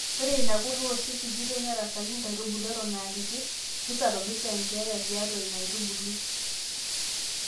Ore ina kurto oshi sikitoi nerasaki inaaitubului eton aakiti nisababisha enkeyaa tiatua ina aitubului.